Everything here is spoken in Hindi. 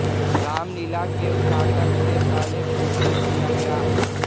रामलीला के उद्घाटन से पहले पूजन किया गया